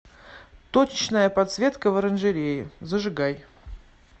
точечная подсветка в оранжерее зажигай